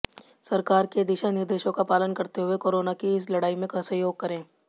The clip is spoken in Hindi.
सरकार के दिशा निर्देशों का पालन करते हुए कोरोना की इस लड़ाई में सहयोग करें